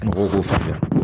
Mɔgɔw k'o faamuya